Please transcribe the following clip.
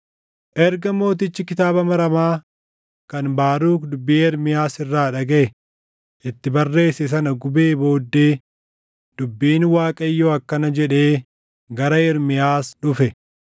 Erga mootichi kitaaba maramaa kan Baaruk dubbii Ermiyaas irraa dhagaʼe itti barreesse sana gubee booddee dubbiin Waaqayyoo akkana jedhee gara Ermiyaas dhufe: